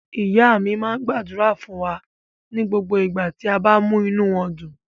Ìyá mi máa ń gbàdúrà fún wa ní gbogbo ìgbà tí a bá múnú wọn dùn.